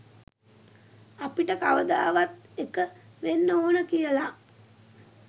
අපිට කවදාවත් එක වෙන්න ඕන කියලා